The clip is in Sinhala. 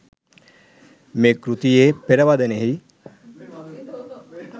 මේ කෘතියේ පෙරවදනෙහි